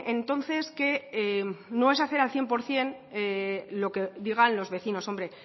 entonces que no es hacer al cien por ciento lo que digan los vecinos hombre